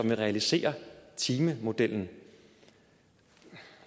den realiserer timemodellen